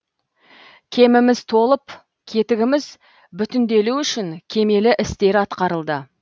кеміміз толып кетігіміз бүтінделу үшін кемел істер атқарылды